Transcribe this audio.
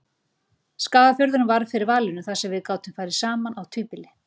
Skagafjörðurinn varð fyrir valinu þar sem við gátum farið saman á tvíbýli.